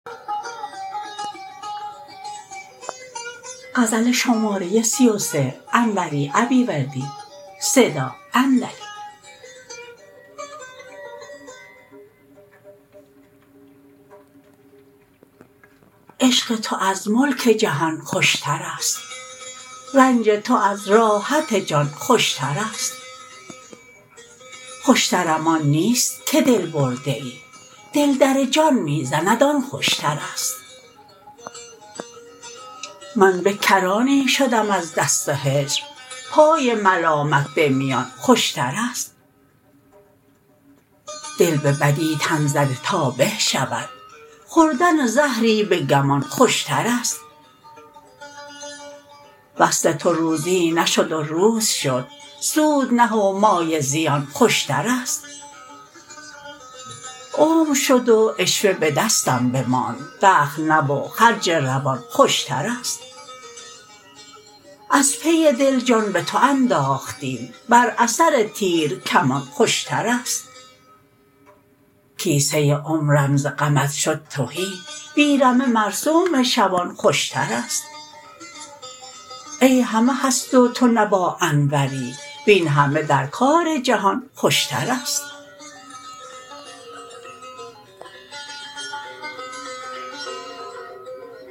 عشق تو از ملک جهان خوشترست رنج تو از راحت جان خوشترست خوشترم آن نیست که دل برده ای دل در جان می زند آن خوشترست من به کرانی شدم از دست هجر پای ملامت به میان خوشترست دل به بدی تن زده تا به شود خوردن زهری به گمان خوشترست وصل تو روزی نشد و روز شد سود نه و مایه زیان خوشترست عمر شد و عشوه به دستم بماند دخل نه و خرج روان خوشترست از پی دل جان به تو انداختیم بر اثر تیر کمان خوشترست کیسه عمرم ز غمت شد تهی بی رمه مرسوم شبان خوشترست این همه هست و تو نه با انوری وین همه در کار جهان خوشترست